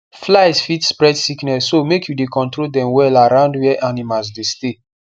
flies fit spread sickness so make you dey control dem well around where animals dey stay